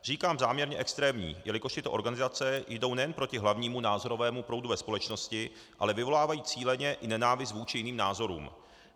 Říkám záměrně extrémních, jelikož tyto organizace jdou nejen proti hlavnímu názorovému proudu ve společnosti, ale vyvolávají cíleně i nenávist vůči jiným názorům.